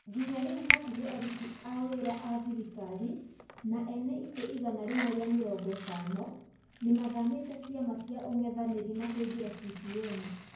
Nginya riu hakûhe arũti aa wira a thirikari na ene ite igana rĩmwe ria mĩrongo itana nimathamite ciama cia ung'ethaniri na kuingira CCM.